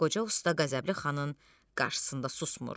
Qoca usta qəzəbli xanın qarşısında susmur.